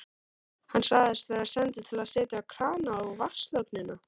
Hann sagðist vera sendur til að setja krana á vatnslögnina.